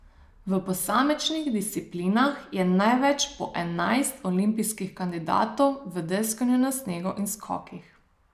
V posamičnih disciplinah je največ, po enajst, olimpijskih kandidatov v deskanju na snegu in skokih.